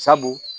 Sabu